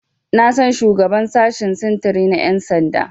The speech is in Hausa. Na san shugaban sashen sintiri na Ƴan sanda.